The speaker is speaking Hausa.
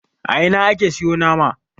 a Ina ake siyo nama